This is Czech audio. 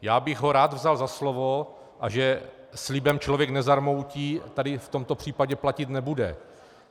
Já bych ho rád vzal za slovo, a že slibem člověk nezarmoutí, tady v tomto případě platit nebude.